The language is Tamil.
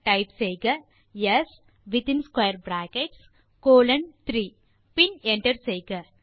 டைப் செய்க S in square brackets colon 3 பின் என்டர் செய்க